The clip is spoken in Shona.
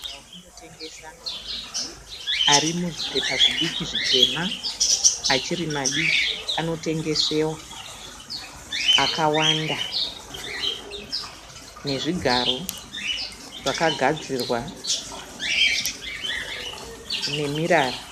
Maruva okundotengesa arimuzvipepa zvidiki zvitema, achiri madiki anotengesewa akawanda nezvigaro zvakagadzirwa nemirara